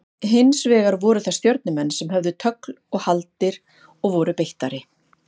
Hins vegar voru það Stjörnumenn sem höfðu tögl og haldir og voru beittari.